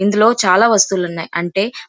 ఇందులో చాలా వస్తువులు ఉన్నాయ్. అంటే --